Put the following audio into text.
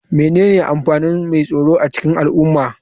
Menene amfanin mai tsaro a cikin al'umma?